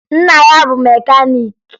Nna ya bụ mekaniiki